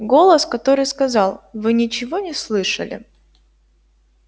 голос который сказал вы ничего не слышали